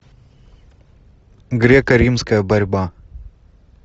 греко римская борьба